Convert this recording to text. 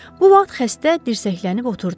Bu vaxt xəstə dirsəklənib oturdu.